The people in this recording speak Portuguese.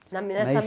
Na nessa